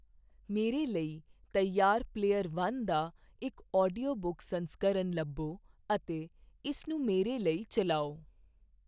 ਮੇਰੇ ਲਈ ਤਿਆਰ ਪਲੇਅਰ ਵਨ ਦਾ ਇੱਕ ਆਡੀਓ ਬੁੱਕ ਸੰਸਕਰਨ ਲੱਭੋ ਅਤੇ ਇਸਨੂੰ ਮੇਰੇ ਲਈ ਚਲਾਓ